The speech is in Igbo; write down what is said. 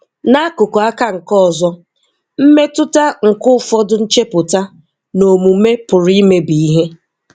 N'akụkụ aka nke ọzọ, mmetụta nke ụfọdụ nchepụta na omume pụrụ imebi ihe.